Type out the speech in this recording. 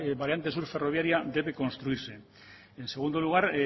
variante sur ferroviaria debe construirse en segundo lugar